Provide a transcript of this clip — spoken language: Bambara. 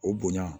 O bonya